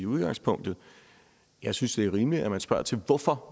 udgangspunktet jeg synes det er rimeligt at man spørger til hvorfor